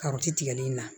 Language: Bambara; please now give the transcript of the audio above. Karawti tigɛli in na